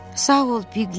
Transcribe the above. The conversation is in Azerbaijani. Sağ ol, Piklit.